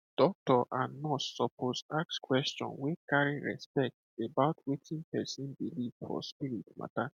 doctor and nurse suppose ask question wey carry respect about wetin person believe for spirit matter